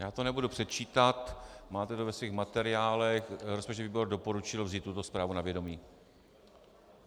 Já to nebudu předčítat, máte to ve svých materiálech, rozpočtový výbor doporučil vzít tuto zprávu na vědomí.